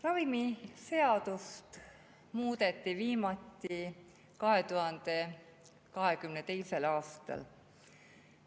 Ravimiseadust muudeti viimati 2022. aastal.